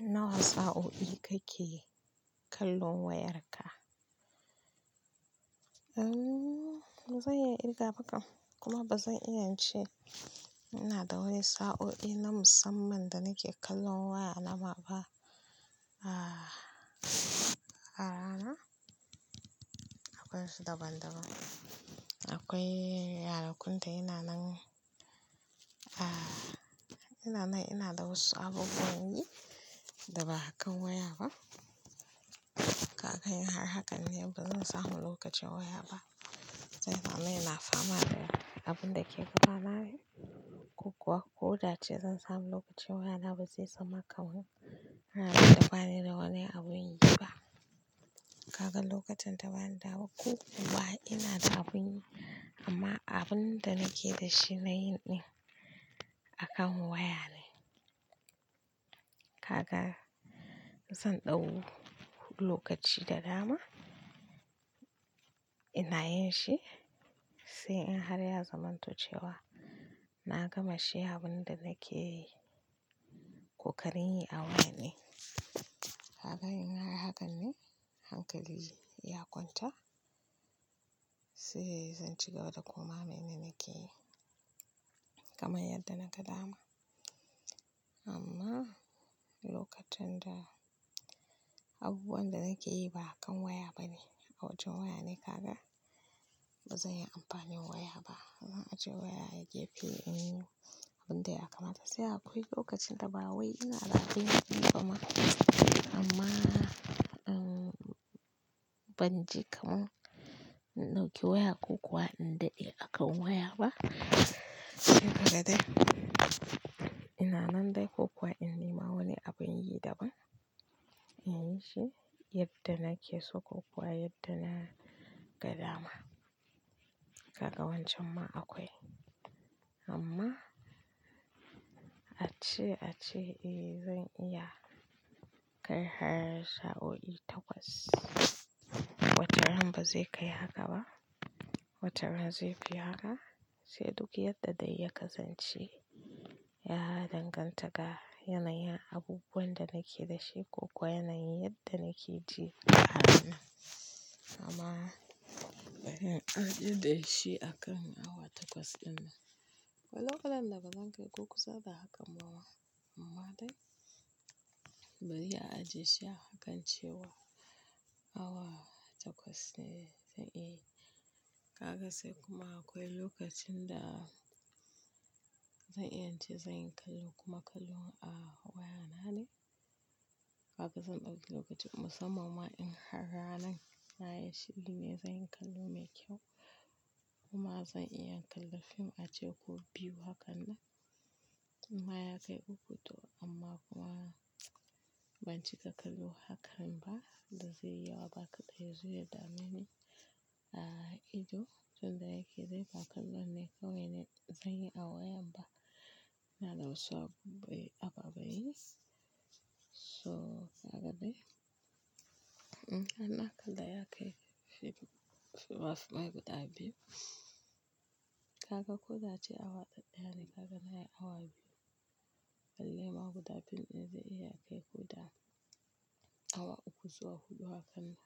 Nawa sa'o'i kake kallon wayar ka? Eh, ba zan iya irga ba kam kuma ba zan iya ince ina da wani sa'o'i na musamman da nake kallon waya nama ba. A rana akwai su daban-daban. Akwai yarakun da yana nan, ina nan ina da wasu abubuwan yi da ba a kan waya ba. Ka ga in har hakan ne, ba zan samu lokacin waya ba. Zai zama yana fama da abin da ke gudanar da ni. Ko kuwa ko da ce zan sami lokacin waya na ba zai zama kaman ranar da ba ni da wani abun yi ba. Ka ga lokutan da bani da ko kuwa ina da abun yi, amma abun da nake da shi na yin ɗin a kan waya ne. Ka ga zan ɗau lokaci da dama ina yin shi sai in har ya zamanto cewa, na gama shi abin da nake yi, koƙarin yi a waya ne. Ka ga in har hakan ne hankali ya kwanta, sai zan ci gaba da koma mene nake yi kamar yadda naga dama. Amma lokacin da abubuwan da nake yi ba akan waya ba ne, a wajen waya ne kaga ba zan yi amfani waya ba. Zan ajiye waya a gefe in yi abin da ya kamata. Sai akwai lokacin da ba wai ina da abin yi kuma amma in ban ji kaman in ɗauki waya ko kuwa in daɗe a kan waya ba. Haka dai ina nan dai ko kuwa in nema wani abin yi daban in yi shi yadda nake so ko kuwa yadda na ga dama. Kaga wancan ma akwai amma ace-ace, "Eh zan iya kai har sa'o'i takwas." Wata ran ba zai kai haka ba, wata rana zaifi haka sai duk yadda dai ya kasance ya danganta ga yanayin abubuwan da nake da shi ko kuwa yanayin yadda nake ji a ranan. Amma in ajiye da shi a kan awa takwas ɗin nan, walau kalan da ba zan kai ko kusa da hakan ba ma amma dai bari a ajiye shi a hakan cewa awa takwas ne zan iya yi. Ka ga sai kuma akwai lokacin da zan iya ce zan yi kallo kuma kallon a wayana ne. Ka ga zan ɗauki lokaci musamman in har ranan na yi shiri ne zan yi kallo mai kyau kuma zan iya kalla fim a ce ko biyu hakan nan. Amma ya kai uku to amma kuma ban cika kallo haka ba da zai yi yawa ba ka ɗai ya zo ya dame ni a ido. Tun da yake dai ba kallo ne kawai ne zan yi a wayar ba. Ina da wasu abubai ababan yi. Toh, ka ga dai, ana kalla ya kai film, fina-finai guda biyu. Ka ga ko da a ce awa ɗaɗɗaya ne kaga na yi awa biyu. Balle ma guda film ɗin zai iya kai guda awa uku zuwa huɗu haka nan.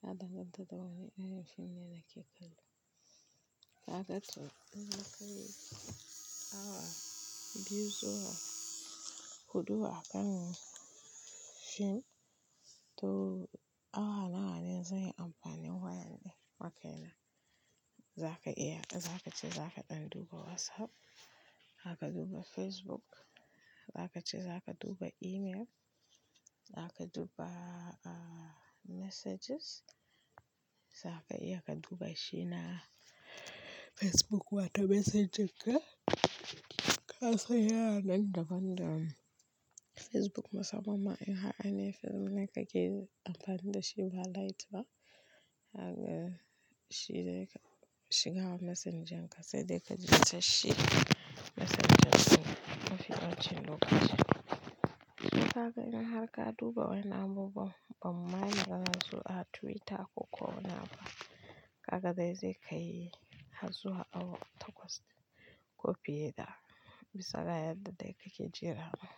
Ya danganta da wane irin fim ne nake kallo. Kaga to in ya kai awa biyu zuwa huɗu a kan fim, to awa nawa ne zan yi amfani wayar ɗin? Wa kai na za ka iya, za ka ce za ka ɗan duba WhatsApp, daka duba Facebook, daka ce za ka duba email, haka duba messages, za ka iya ka duba shi na Facebook wato Messenger ka. Ka san yana nan daban da Facebook musamman ma in har ainihin Facebook ne ka ke yi amfani da shi ba light ba. Ka ga shi zai shiga wa Messenger ka sai dai ka ji ta shi Messenger kuma ka ɓa ce llokaci. Ka ga n har ka duba wani abubuwan bamma ce irin su Twitter ko ko wani abu ka ga dai zai kai har zuwa awa takwas ko fiye da, bisa ga yadda dai kake ji ranan.